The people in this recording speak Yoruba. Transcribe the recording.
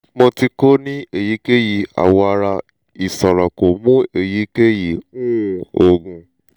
mo ti ko ni eyikeyi awọ ara isoro ko mu eyikeyi um oogun